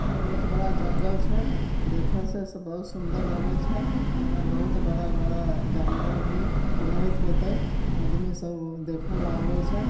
बहुत बड़ा जंगल है छे देख से बड़ा सुन्दर लगे छे ये में बहुत बड़ा बड़ा जानवर रहित होतय आदमी सब देखल आवे छे।